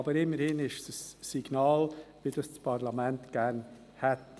Immerhin ist es ein Signal, was das Parlament gerne hätte.